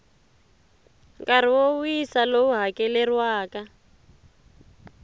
nkarhi wo wisa lowu hakeleriwaka